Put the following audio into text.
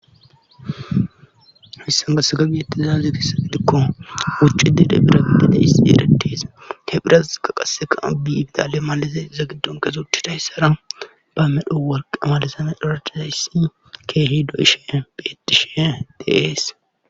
hissan gasagabiyetti zaazi kissagidikko wucci dede bira gidede his eretes he phiraz ka qaseka bi bidale malaze za giddon kesuctchi tayssara ba medhu wolqe malisana dhorachazayssi keehi do7ishe beetishe deees